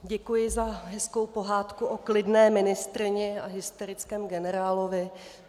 Děkuji za hezkou pohádku o klidné ministryni a hysterickém generálovi.